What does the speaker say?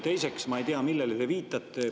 Teiseks, ma ei tea, millele te viitate.